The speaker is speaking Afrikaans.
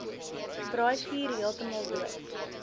braaivuur heeltemal dood